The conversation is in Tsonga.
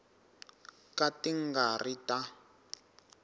ka ti nga ri ta